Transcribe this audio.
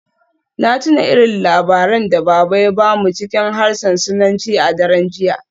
Na tuna irin labaran da Baba ya ba mu cikin harshen Sinanci a daren jiya.